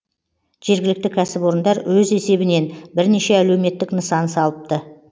жергілікті кәсіпорындар өз есебінен бірнеше әлеуметтік нысан салыпты